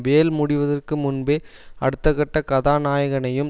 வேல் முடிவதற்கு முன்பே அடுத்தப்பட கதாநாயகனையும்